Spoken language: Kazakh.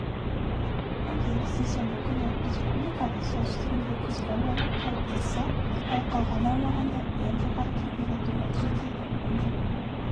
егер сейсенбі күніреспубликаның солтүстігінде күзгі ауа райы қалыптасса ал қалған аумағында ең жоғары температура жетеді онда